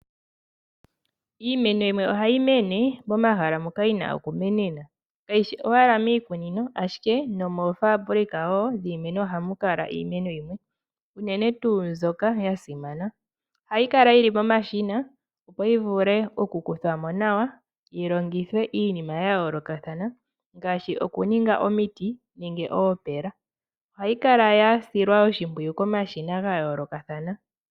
Iimeno yimwe ohayi mene momahala moka yina okumenena kayishi owala miikunino ashike nomoofaambulika wo dhiimeno ohamu kala iimeno yimwe, uunene tu mbyoka yasimana, ohayi kala yili momashina opo yivule okukuthwamo nawa yilongithwe iinima yayoolokathana ngaashi, okuninga omiti nenge oopeela. Ohayi kala yasilwa oshimpwiyu komashina gayoolokathana.